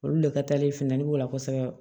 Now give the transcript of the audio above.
Olu de ka taale fin b'o la kosɛbɛ